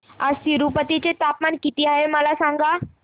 आज तिरूपती चे तापमान किती आहे मला सांगा